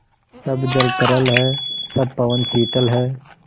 सब जल तरल है सब पवन शीतल है